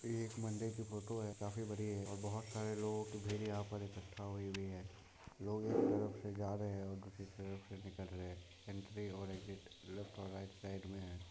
ये एक मंदिर की फोटो है काफी बड़ी है और बहुत सारे लोगो की भीड़ यहाँ पर इक्कठा हुई हुई है लोग एक तरफ से जा रहे है और दूसरी तरफ से निकल रहे है एंट्री हो रही गेट लेफ्ट और राइट साइड में है।